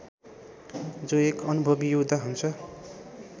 जो एक अनुभवि योद्धा हुन्छ